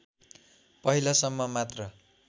पहिलासम्म मात्र